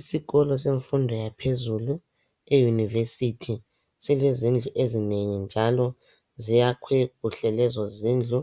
Isikolo semfundo yaphezulu iyunivesithi, silezindlu ezinengi njalo ziyakhwe kuhle lezo zindlu.